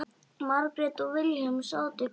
Margrét og Vilhelm sátu kyrr.